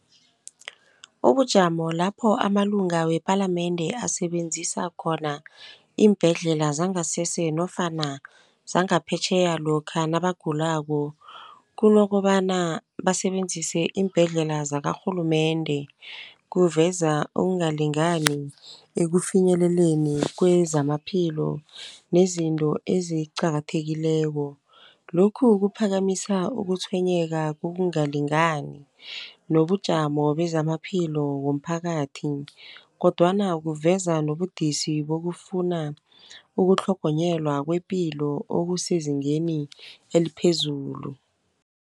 Ubujamo lapho amalunga wepalamende asebenzisa khona iimbhedlela zangasese nofana zangaphetjheya lokha nabagulako kunokobana basebenzise iimbhedlela zakarhulumende, kuveza ukungalingani ekufinyeleleni kwezamaphilo nezinto eziqakathekileko. Lokhu kuphakamisa ukutshwenyeka kokungalingani nobujamo bezamaphilo womphakathi kodwana kuveza nobudisi bokufuna ukutlhogonyelwa kwepilo okusezingeni eliphezulu.